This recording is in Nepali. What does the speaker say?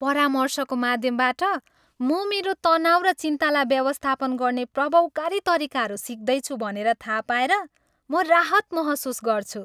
परामर्शको माध्यमबाट, म मेरो तनाउ र चिन्ताला व्यवस्थापन गर्ने प्रभावकारी तरिकाहरू सिक्दैछु भनेर थाहा पाएर म राहत महसुस गर्छु।